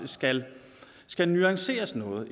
skal skal nuanceres noget